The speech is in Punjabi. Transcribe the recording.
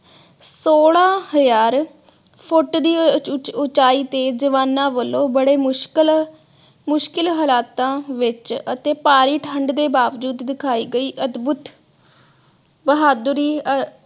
ਸੋਲਾਂ ਹਜ਼ਾਰ ਫੁੱਟ ਦੀ ਅਹ ਉਚਾਈ ਤੇ ਜਵਾਨਾਂ ਵਲੋਂ ਬੜੇ ਮੁਸ਼ਕਿਲ ਮੁਸ਼ਕਿਲ ਹਾਲਾਤ ਵਿਚ ਅਤੇ ਭਾਰੀ ਠੰਡ ਦੇ ਬਾਵਜੂਦ ਦਿਖਾਈ ਗਈ ਅਦਭੁਤ ਬਹਾਦੁਰੀ